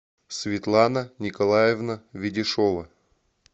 светлана николаевна ведешова